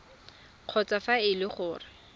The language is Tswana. kgotsa fa e le gore